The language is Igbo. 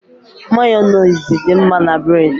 Mayonezi dị mma na bréd